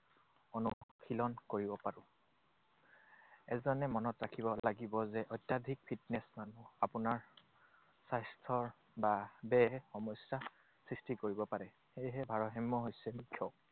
অনুশীলন কৰিব পাৰো। এজনে মনত ৰাখিব লাগিব যে অত্যাধিক fitness মানুহৰ আপোনাৰ স্বাস্থ্যৰ বা দেহ সমস্যা সৃষ্টি কৰিব পাৰে। সেয়েহে ভাৰসাম্য হৈছে মুখ্য।